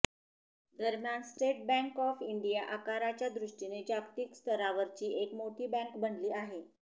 दरम्यान state bank of India आकाराच्या दृष्टीने जागतिक स्तरावरची एक मोठी बँक बनली आहे